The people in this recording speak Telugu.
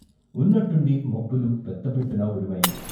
ఉన్నట్టుండి మబ్బులు పెద్ద పెట్టున ఉరిమాయి.